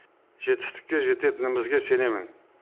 жетістікке жететінімізге сенемін